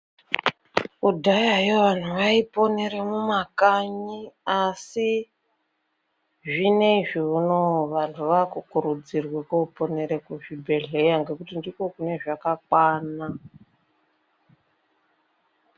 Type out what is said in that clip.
Kudhayayo vantu vaiponera mumakanyi, asi zvinoizvi unouyu vantu vakukurudzirwe koponera kuzvibhedhleya ngekuti ndiko kune zvakakwana.